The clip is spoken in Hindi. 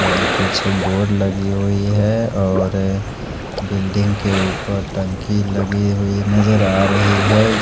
और कुछ बोर्ड लगी हुई है और अ बिल्डिंग के ऊपर टंकी लगी हुई नजर आ रही है।